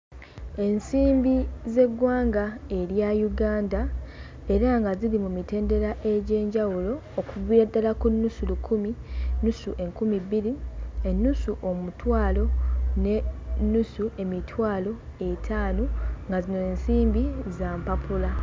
Ensimbi z'eggwanga erya Uganda era nga ziri mu mitendera egy'enjawulo, okuviira ddala ku nnusu lukumi, nnusu enkumi bbiri , ennusu omutwalo, n'ennusu emitwalo etaano nga zino ensimbi za mpappula.